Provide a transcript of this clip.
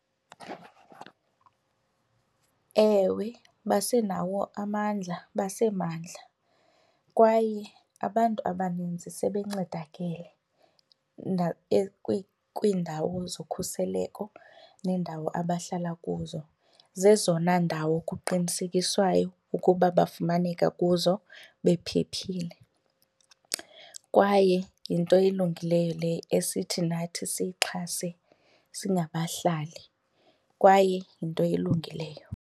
Ewe, basenawo amandla basemandla kwaye abantu abaninzi sebencedakele kwiindawo zokhuseleko neendawo abahlala kuzo. Zezona ndawo kuqinisekiswayo ukuba bafumaneka kuzo bephephile kwaye yinto elungileyo le esithi nathi siyixhase singabahlali, kwaye yinto elungileyo.